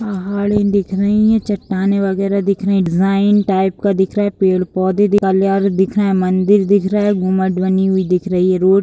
पहाड़े दिख रही है चट्टाने वगैरा दिख रहे है डिज़ाइन टाइप का दिख रहा है पेड़ पौधे दिख रहे है मंदिर दिख रहे है घुमट बनी हुवी दिख रहे है रोड --